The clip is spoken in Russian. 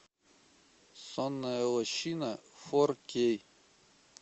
сонная лощина фор кей